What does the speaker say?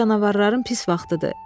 İndi canavarların pis vaxtıdır.